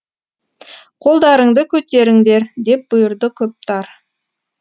қолдарыңды көтеріңдер деп бұйырды коптар